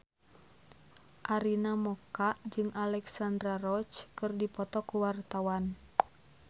Arina Mocca jeung Alexandra Roach keur dipoto ku wartawan